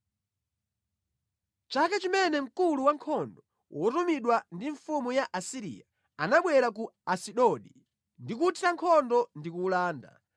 Mʼchaka chimene mkulu wankhondo wotumidwa ndi mfumu ya ku Asiriya, anabwera ku Asidodi ndi kuwuthira nkhondo ndi kuwulanda,